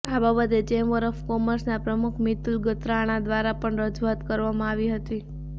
આ બાબતે chamber of કોમર્સના પ્રમુખ મીતુલ ગણાત્રા દ્વારા પણ રજૂઆત કરવામાં આવી હતી